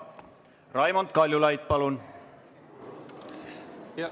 Raimond Kaljulaid, palun!